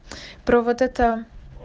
про вот это